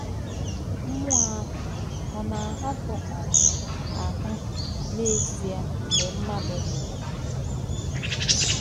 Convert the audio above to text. Mmú̄ọ̀ àhụ̄ ọ̀ nā-āhà̄pù̄ um áhū̄ n’èzì̄è̄ m̀gbè̄ mmádụ̀ nwù̄rù̄?